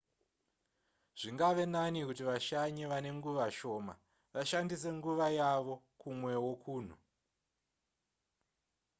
zvingave nani kuti vashanyi vane nguva shoma vashandise nguva yavo kumwewo kunhu